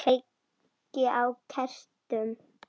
Allt hans.